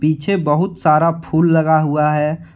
पीछे बहुत सारा फूल लगा हुआ है।